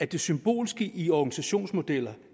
det symbolske i organisationsmodeller